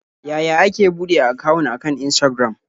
Yaya ake buɗe akawun akan Instagram?